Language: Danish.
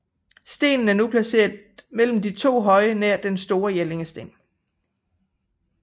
Stenen er nu placeret mellem de to høje nær Den store Jellingsten